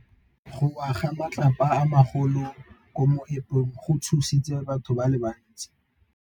Go wa ga matlapa a magolo ko moepong go tshositse batho ba le bantsi.